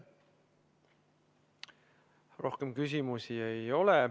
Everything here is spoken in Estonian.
Rohkem küsimusi ei ole.